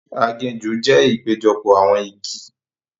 Aginjù jẹ ìpéjọpọ̀ awọn igi.